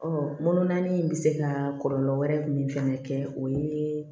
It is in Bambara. mɔnnan ni bɛ se ka kɔlɔlɔ wɛrɛ min fana kɛ o ye